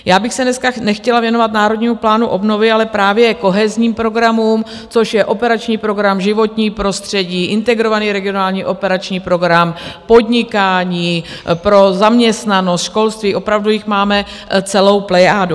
Já bych se dneska nechtěla věnovat Národnímu plánu obnovy, ale právě kohenzním programům, což je Operační program životní prostředí, Integrovaný regionální operační program, podnikání, pro zaměstnanost, školství - opravdu jich máme celou plejádu.